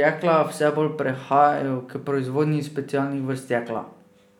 jekla vse bolj prehajajo k proizvodnji specialnih vrst jekla.